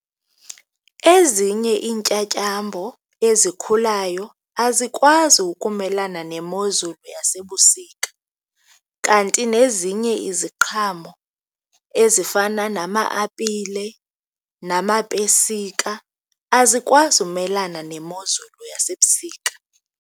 Ezinye iintyatyambo ezikhulayo azikwazi ukumelana nemozulu yasebusika kanti nezinye iziqhamo ezifana nama-apile namapesika azikwazi umelana nemozulu yasebusika.